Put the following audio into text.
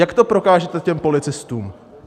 Jak to prokážete těm policistům?